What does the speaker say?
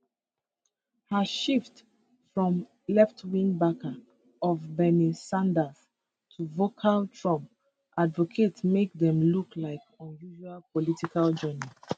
her shift from leftwing backer of bernie sanders to vocal trump advocate make am look like unusual political journey